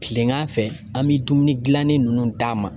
Kilegan fɛ an bɛ dumuni dilannien ninnu d'a ma